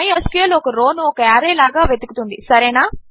MySQL ఒక రో ను ఒక ఆర్రే లాగా వెతుకుతుంది